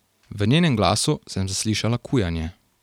V njenem glasu sem zaslišala kujanje.